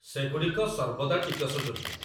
ସେଗୁଡ଼ିକ ସର୍ବଦା ଟିକସଯୋଗ୍ୟ।